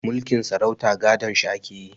Mulkin sarauta gadon shi ake yi